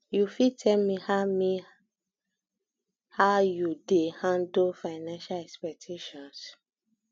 you fit tell me how me how you dey handle um financial expectations